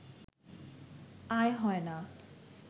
আয় হয় না